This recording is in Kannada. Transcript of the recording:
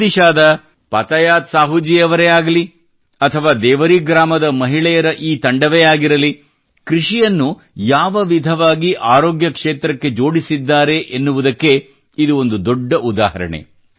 ಒಡಿಶಾದ ಪತಯಾತ್ ಸಾಹೂಜೀ ಅವರೇ ಆಗಲಿ ಅಥವಾ ದೇವರೀ ಗ್ರಾಮದ ಮಹಿಳೆಯರ ಈ ತಂಡವೇ ಆಗಿರಲಿ ಕೃಷಿಯನ್ನು ಯಾವ ವಿಧವಾಗಿ ಅರೋಗ್ಯ ಕ್ಷೇತ್ರಕ್ಕೆ ಜೋಡಿಸಿದ್ದಾರೆ ಎನ್ನುವುದಕ್ಕೆ ಇದು ಒಂದು ದೊಡ್ಡ ಉದಾಹರಣೆ